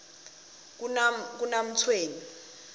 kanamtshweni